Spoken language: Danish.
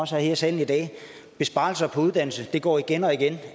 også er her i salen i dag at besparelser på uddannelse det går igen og igen